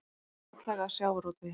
Atlaga að sjávarútvegi